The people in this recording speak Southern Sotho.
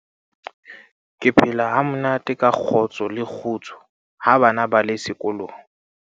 ke phela ha monate ka kgotso le kgutso ha bana ba le sekolong